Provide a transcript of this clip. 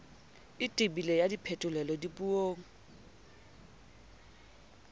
e tebileng ya phetolelo dipuong